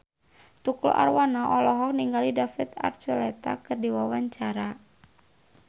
Tukul Arwana olohok ningali David Archuletta keur diwawancara